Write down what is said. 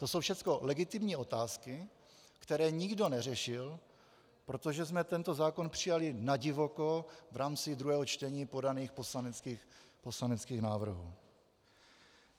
To jsou všechno legitimní otázky, které nikdo neřešil, protože jsme tento zákon přijali nadivoko v rámci druhého čtení podaných poslaneckých návrhů.